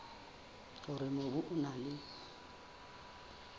hore mobu o na le